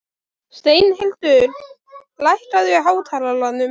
Steinhildur, lækkaðu í hátalaranum.